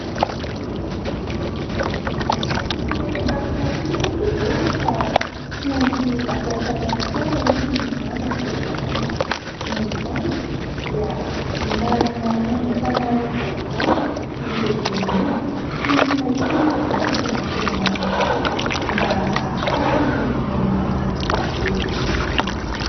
Tsy amelan'i Noro mihitsy ny bebeany fa tsy maintsy atao samy hafa foana hono ny randrany isanandro ; noho izany dia manana aingam-panahy vaovao io bebeany io ; tsy maintsy mahita moa izany izy raha ny tena marina tokoa mba ahafahany manao izany volo izany.